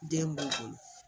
Den b'u bolo